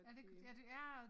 Er det ik ja det ja